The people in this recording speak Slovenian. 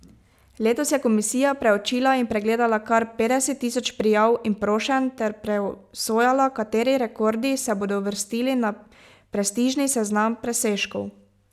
Letos je komisija preučila in pregledala kar petdeset tisoč prijav in prošenj ter presojala, kateri rekordi se bodo uvrstili na prestižni seznam presežkov.